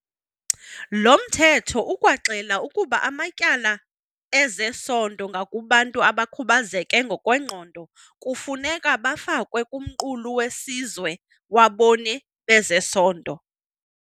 Lo Mthetho ukwaxela ukuba amatyala ezesondo ngakubantu abakhubazeke ngokwengqondo kufuneka bafakwe kuMqulu weSizwe waBoni bezeSondo.